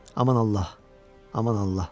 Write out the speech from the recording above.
Aman Allah, aman Allah.